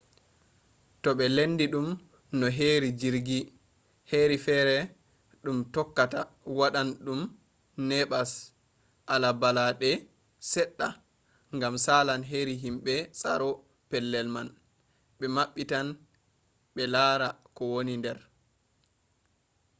to ɓe lendi ɗum no heri jirgi heri fere ɗum tokkata waɗan ɗum neɓas ala balaɗe seɗɗa gam salan heri himɓe tsaro pellel man ɓe maɓɓitan -ɓe lara ko woni nder